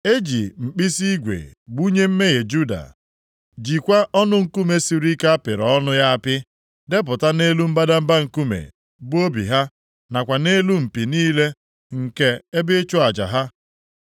“E ji mkpisi igwe gbunye mmehie Juda, jikwa ọnụ nkume siri ike a pịrị ọnụ + 17:1 Nkume a na-egbuke ka ọla dịamọndu ya apị, depụta nʼelu mbadamba nkume, bụ obi ha, nakwa nʼelu mpi niile nke ebe ịchụ aja ha.